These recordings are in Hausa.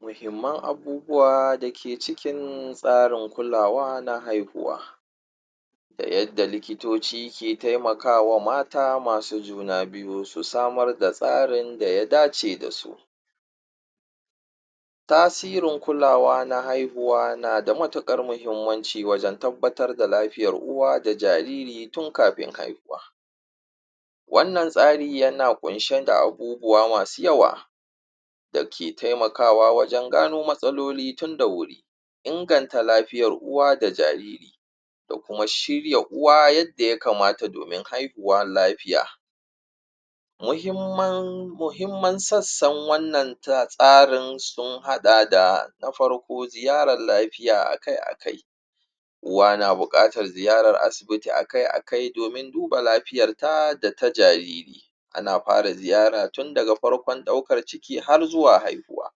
muhimman abubuwa dake cikin tsarin kulawa na haihuwa da yadda likitoci ke taimakawa mata masu juna biyu su samar da tsarin da ya dace dasu tasirin kulawa na haihuwa nada matuƙar mahimmanci wajan tabbatar da lafiyar uwa da jariri tun kafin haihuwa wannan tsari yana ƙunshe da abubuwa masu yawa dake taimakawa wajan gano matsaloli tun da wuri inganta lafiyarv uwa da jariri da kuma shirya uwa yadda ya kamata domin haihuwa lafiya muhimman wannan sassan tsarin sun haɗa da farko ziyarar lafiya akai akai uwa na buƙatar ziyarar asibiti akai akai domin duba lafiyarta data jariri ana fara ziyara tunda ga farƙon ɗaukar ciki har zuwa haihuwa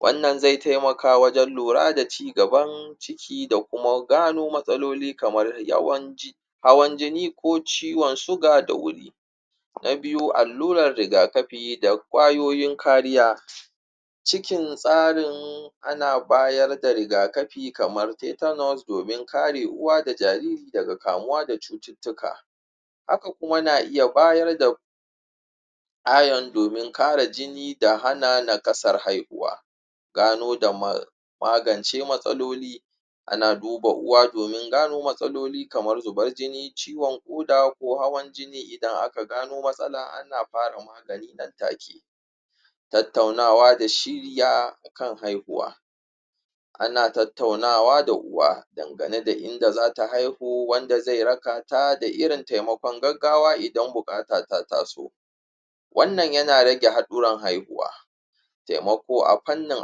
wannan zai taimaka wajan lura da cigaban ciki da kuma gano matsaloli kamar yawan hawan jin ko ciwan suga da wuri na biyu allurar riga kafi da ƙwayoyin kariya cikin tsarin ana bayar da riga kafi kamar teeter nose domin kare uwa da jariri daga kamuwa da cututtuka haka kuma na iya bayar da ione domin kare jini da hana nakasar haihuwa gano da magance matsaloli ana duba uwa domin gano matsalili kamar zubar jini ciwan ƙuda ko hawan jini idan aka samu matsala ana fara ƙoƙari a take tattaunawa da shirya akan haihuwa ana tattaunawa da uwa dangane da inda zata haihu wanda zai rakata da irin taimaƙon gaggawa idan buƙata ta taso wannan yana rage haɗuwar haihuwa taimako a fannin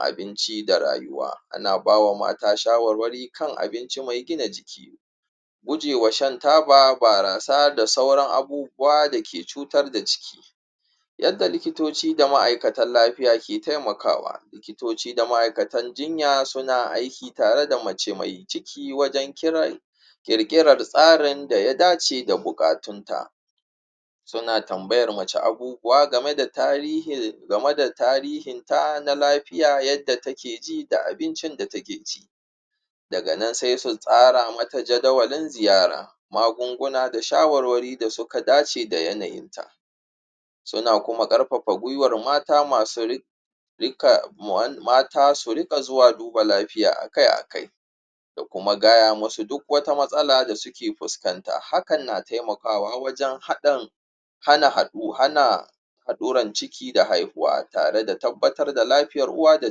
abinci da rayuwa ana bawa mata shawarwari kan abinci mai gina jiki gujewa shan taba da barasa da sauran abubuwa da ke cutar da ciki yadda likitoci da ma'aikatan lafiya ke taimaka wa likitoci da ma'aikatan jinya suna aiki tare da mace mai ciki wajan kiran ƙirkirar tsarin daya dace da buƙatunta suna tambayar mace abubuwa game da tarihinta na lafiya yadda take ji da abincin da take ci daganan sai su tsara mata jadawalin ziyara magunguna da shawarwari da suka dace da yanayin ta suna kuma ƙarfafa gwiwar mata su riƙa zuwa duba lafiya akai akai da kuma gaya musu duk wata matsala da suke fuskanta hakan na taimakawa wajan hana haɗuran ciki da haihuwa tare da tabbatar da lafiyar uwa da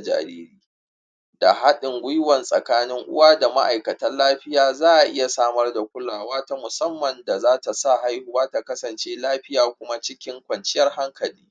jariri da haɗin gwiwan tsakanin uwa da ma'aikatan lafiya za a iya samar da kulawa ta musamman da zata sa haihuwa ta kasance lafiya kuma cikin kwanciyar hankali